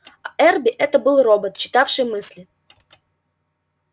а эрби это был робот читавший мысли